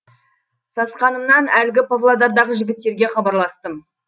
сасқанымнан әлгі павлодардағы жігіттерге хабарластым